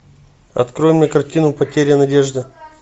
открой мне картину потеря надежды